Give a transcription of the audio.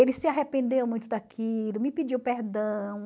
Ele se arrependeu muito daquilo, me pediu perdão.